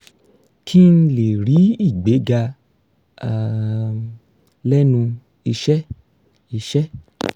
kí n lè rí ìgbéga um lẹ́nu iṣẹ́ iṣẹ́